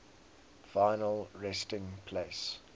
final resting place